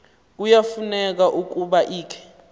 kuyafuneka ukuba ikhe